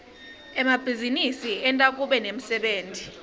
emabhizinisi enta kube nemsebenti